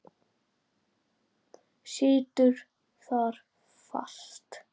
Situr þar fast.